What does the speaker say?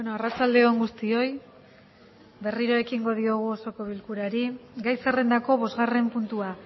arratsalde on guztioi berriro ekingo diogu osoko bilkurari gai zerrendako bosgarren puntua